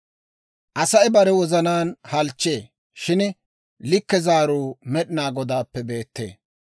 Asay bare wozanaan halchchee; shin likke zaaruu Med'inaa Godaappe beettee.